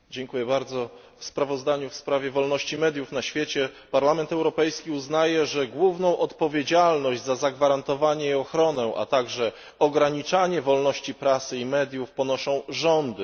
Panie Przewodniczący! W sprawozdaniu w sprawie wolności mediów na świecie Parlament Europejski uznaje, że główną odpowiedzialność za zagwarantowanie i ochronę, a także ograniczanie wolności prasy i mediów ponoszą rządy.